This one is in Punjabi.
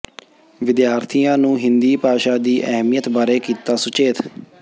ਵਿਦਿਆਰਥੀਆਂ ਨੂੰ ਹਿੰਦੀ ਭਾਸ਼ਾ ਦੀ ਅਹਿਮੀਅਤ ਬਾਰੇ ਕੀਤਾ ਸੁਚੇਤ